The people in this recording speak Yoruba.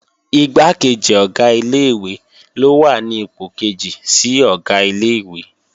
Igbákejì Ọ̀gá ilé-ìwé ló wà ní ipò kejì sí Ọ̀gá ilé-ìwé